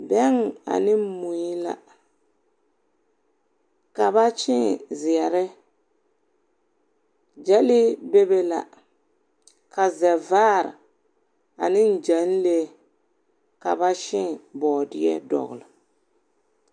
Bɛŋ ane mui la. Ka ba kyēē zeɛre. Gyɛnlee bebe la, ka zɛvaar ane gyɛnlee. Ka ba kyēē bɔɔdeɛ dɔgle.